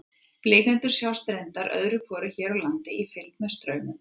Blikendur sjást reyndar öðru hvoru hér á landi í fylgd með straumöndum.